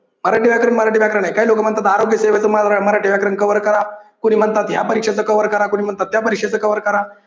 मराठी व्याकरण मराठी व्याकरण आहे काही लोक म्हणतात आरोग्यसेवा तुम्हाला मराठी व्याकरण cover करा कोणी म्हणतात की या परीक्षेच cover करा कोणी म्हणतात त्या परीक्षेच cover करा